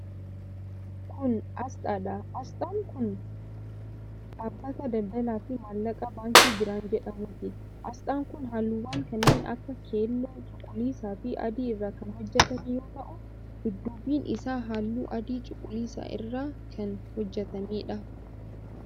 Kun, asxaadha. Asxaan kun kun dhaabbata daldalaa fi maallaqaa Baankii Birhaan jedhamuuti. Asxaan kun haalluwwan kanneen akka :keelloo, cuquliisa fi adii irraa kan hojjatame yoo ta'u dudduubni isaa haalluu adii cuquliisa irraa kan hojjatameedha.